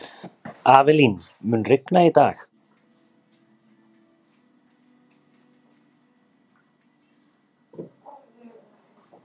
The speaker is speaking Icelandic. Avelín, mun rigna í dag?